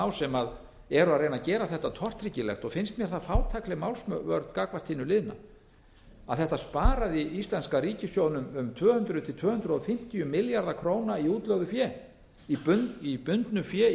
á sem eru að reyna að ári þetta tortryggilegt finnst mér það fátækleg málsvörn gagnvart hinu liðna að þetta sparaði íslenska ríkissjóðnum um tvö hundruð til tvö hundruð fimmtíu milljarða króna í útlögðu fé í bundnu fé í